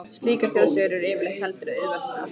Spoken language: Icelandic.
Slíkar þjóðsögur er yfirleitt heldur auðvelt að þekkja úr.